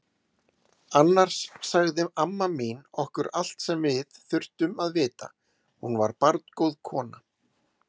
Annars sagði amma mín okkur allt sem við þurftum að vita, hún var barngóð kona.